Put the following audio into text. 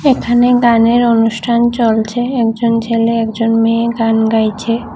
এখানে গানের অনুষ্ঠান চলছে একজন ছেলে একজন মেয়ে গান গাইছে।